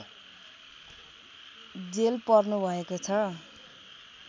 jail पर्नुभएको छ